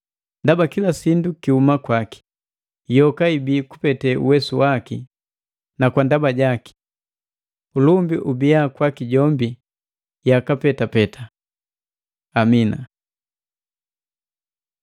Ndaba kila sindu kihuma kwaki, yoka ibii kupete uwesu waki na kwa ndaba jaki. Ulumbi ubia kwaki jombi yaka petapeta! Amina.